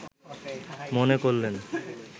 মনে করলেন